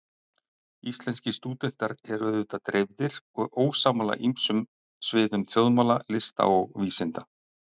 Íslenskir stúdentar eru auðvitað dreifðir og ósammála á ýmsum sviðum þjóðmála, lista og vísinda.